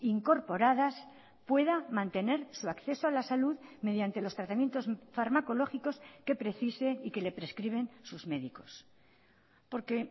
incorporadas pueda mantener su acceso a la salud mediante los tratamientos farmacológicos que precise y que le prescriben sus médicos porque